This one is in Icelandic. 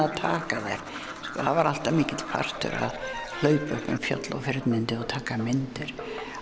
að taka þær það var alltaf mikill partur að hlaupa upp um fjöll og firnindi og taka myndir